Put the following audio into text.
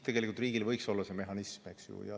Riigil võiks olla see mehhanism, eks ju.